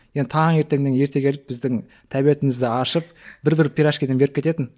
енді таңертеңнен ерте келіп біздің тәбетімізді ашып бір бір пирожкиден беріп кететін